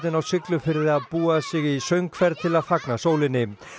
á Siglufirði að búa sig í söngferð til að fagna sólinni